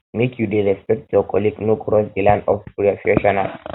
make you dey respect your colleague no cross di line of prefessional